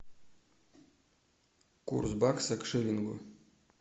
курс бакса к шиллингу